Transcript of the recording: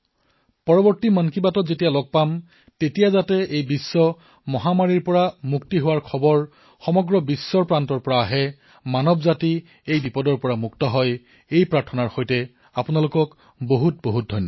অহাবাৰৰ মন কী বাতত যাতে এই বিশ্বজনীন মহামাৰীৰ পৰা মুক্তিৰ খবৰ বিশ্বৰ পৰা পাও মানৱ জাতি এই সমস্যাৰ পৰা মুক্তি পাওক তাৰেই কামনা কৰি অশেষ ধন্যবাদ